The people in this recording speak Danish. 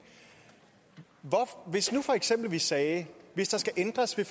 hvis nu for eksempel vi sagde at hvis der skal ændres ved